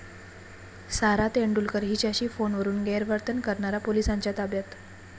सारा तेंडुलकर हिच्याशी फोनवरून गैरवर्तन करणारा पोलिसांच्या ताब्यात